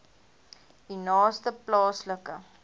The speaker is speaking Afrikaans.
u naaste plaaslike